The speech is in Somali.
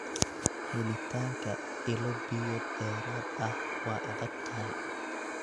Helitaanka ilo biyood dheeraad ah waa adag tahay.